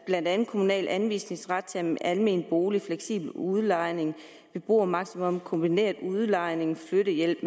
blandt andet kommunal anvisningsret til almene boliger fleksibel udlejning beboermaksimum kombineret udlejning flyttehjælp